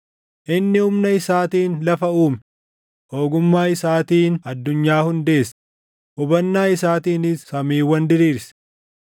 “Inni humna isaatiin lafa uume; ogummaa isaatiin addunyaa hundeesse; hubannaa isaatiinis samiiwwan diriirse.